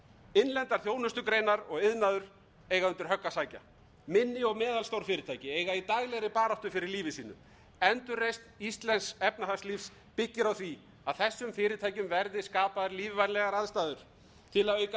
innlendar þjónustugreinar og iðnaður eiga undir högg að sækja minni og meðalstór fyrirtæki eiga í daglegri baráttu fyrir lífi sínu endurreisn íslensks efnahagslífs byggir á því að þessum fyrirtækjum verðir skapaðar lífvænlegar aðstæður til að auka